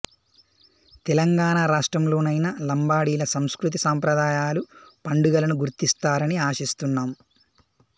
తెలంగాణ రాష్ట్రంలోనైనా లంబాడీల సంస్కృతి సంప్రదాయాలు పండుగలను గుర్తిస్తారని ఆశిస్తున్నాం